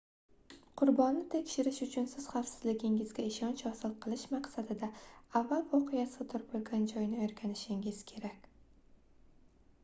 qurbonni tekshirish uchun siz xavfsizligingizga ishonch hosil qilish maqsadida avval voqea sodir boʻlgan joyni oʻrganishingiz kerak